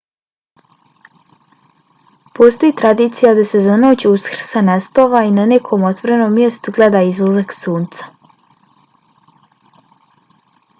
postoji tradicija da se za noć uskrsa ne spava i na nekom otvorenom mjestu gleda izlazak sunca